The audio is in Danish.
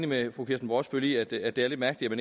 med fru kirsten brosbøl i at det at det er lidt mærkeligt at